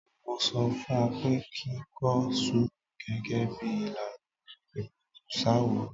Mo sọ fún ọ pé kí kọ sùúrù gẹ́gẹ́ bí ìlànà ìpẹ̀tùsááwọ̀.